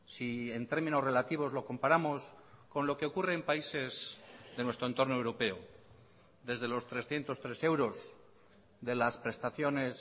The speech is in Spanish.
si en términos relativos lo comparamos con lo que ocurre en países de nuestro entorno europeo desde los trescientos tres euros de las prestaciones